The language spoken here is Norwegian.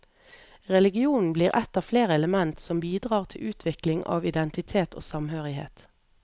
Religionen blir et av flere element som bidrar til utvikling av identitet og samhørighet.